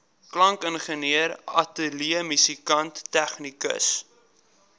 klankingenieur ateljeemusikant tegnikus